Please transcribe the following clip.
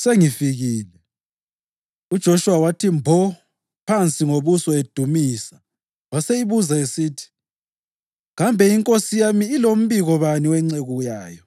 sengifikile.” UJoshuwa wathi mbo phansi ngobuso edumisa waseyibuza esithi, “Kambe iNkosi yami ilombiko bani wenceku yayo?”